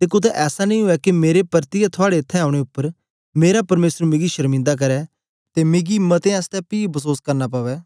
ते कुत्ते ऐसा नेई उवै के मेरे परतियै थुआड़े इत्थैं औने उपर मेरा परमेसर मिगी शर्मिंदा करै ते मिकी मतें आसतै पी बसोस करना पवै